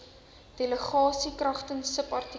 delegasie kragtens subartikel